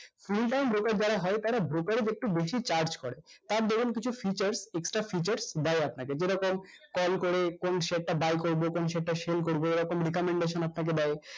full time broker যারা হয় তারা broker দের একটু বেশি এ চার্জ করে আর ধরুন কিছু features extra features দেয় আপনাকে যেরকম call করে কোন share টা buy করবো কোন share টা sell করবো এরকম recomendations আপনাকে দেয়